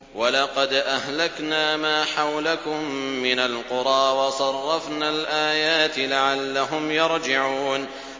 وَلَقَدْ أَهْلَكْنَا مَا حَوْلَكُم مِّنَ الْقُرَىٰ وَصَرَّفْنَا الْآيَاتِ لَعَلَّهُمْ يَرْجِعُونَ